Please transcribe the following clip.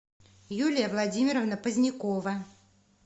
юлия владимировна позднякова